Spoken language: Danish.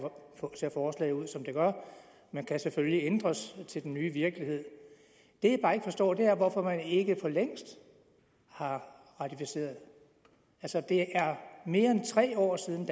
ser forslaget ud som det gør men kan selvfølgelig ændres til den nye virkelighed det jeg bare ikke forstår er hvorfor man ikke for længst har ratificeret det er mere end tre år siden